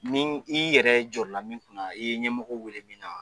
Ni i yɛrɛ jɔrɔla min kunna na i ye ɲɛmɔgɔw wele min na wa